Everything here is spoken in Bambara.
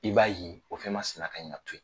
I b'a ye o fɛn masina kan ka to ye